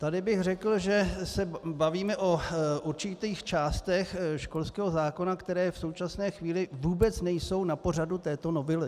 Tady bych řekl, že se bavíme o určitých částech školského zákona, které v současné chvíli vůbec nejsou na pořadu této novely.